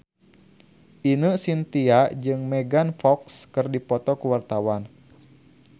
Ine Shintya jeung Megan Fox keur dipoto ku wartawan